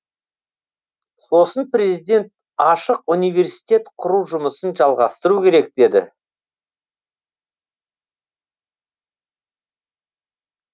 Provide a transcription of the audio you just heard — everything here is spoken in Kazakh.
сосын президент ашық университет құру жұмысын жалғастыру керек деді